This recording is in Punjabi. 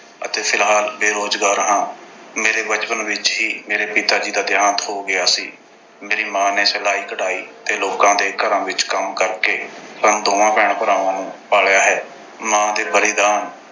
ਅਤੇ ਫਿਲਹਾਲ ਬੇਰੋਜ਼ਗਾਰ ਹਾਂ। ਮੇਰੇ ਬਚਪਨ ਵਿੱਚ ਹੀ ਮੇਰੇ ਪਿਤਾ ਜੀ ਦਾ ਦੇਹਾਂਤ ਹੋ ਗਿਆ ਸੀ। ਮੇਰੀ ਮਾਂ ਨੇ ਸਿਲਾਈ-ਕਢਾਈ ਤੇ ਲੋਕਾਂ ਦੇ ਘਰਾਂ ਵਿੱਚ ਕੰਮ ਕਰਕੇ, ਸਾਨੂੰ ਦੋਹਾਂ ਭੈਣ-ਭਰਾਵਾਂ ਨੂੰ ਪਾਲਿਆ ਹੈ। ਮਾਂ ਦੇ ਬਲਿਦਾਨ